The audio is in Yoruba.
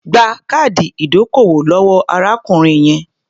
Gba káàdì ìdókòwò lọ́wọ́ arákùnrin yẹn.